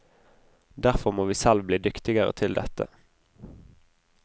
Derfor må vi selv bli dyktigere til dette.